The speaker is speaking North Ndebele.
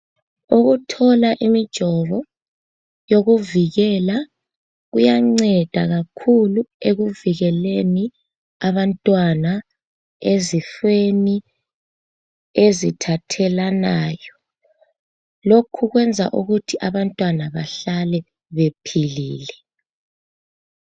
Ukuthola imijovo yokuvikela kuyanceda kakhulu ekuvikeleni abantwana ezifeni ezithathelanayo. Lokhu kwenza ukuthi abantwana bahlale bephilile.